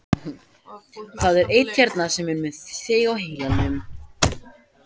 Það er einn hérna sem er með þig á heilanum.